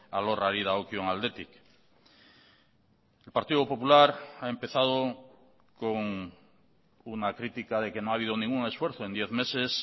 alorrari dagokion aldetik el partido popular ha empezado con una crítica de que no ha habido ningún esfuerzo en diez meses